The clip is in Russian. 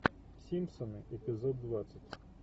симпсоны эпизод двадцать